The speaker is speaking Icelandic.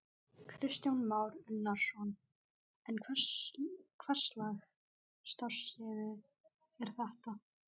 Kristján Már Unnarsson: En hverslags starfsemi er þetta?